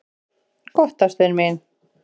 """Gott, ástin mín."""